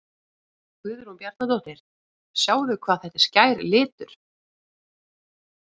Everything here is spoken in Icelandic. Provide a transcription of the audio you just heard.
Guðrún Bjarnadóttir: Sjáið hvað þetta er skær litur?